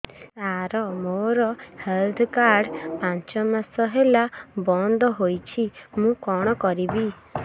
ସାର ମୋର health card ପାଞ୍ଚ ମାସ ହେଲା ବଂଦ ହୋଇଛି ମୁଁ କଣ କରିବି